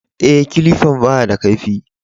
E, kilifan ba ya da kaifi.